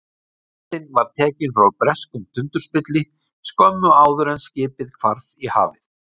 Myndin var tekin frá breskum tundurspilli skömmu áður en skipið hvarf í hafið.